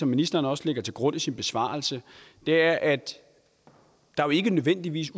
ministeren også lægger til grund i sin besvarelse er at der jo ikke nødvendigvis